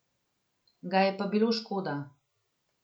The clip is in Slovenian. Ga je pa bilo škoda.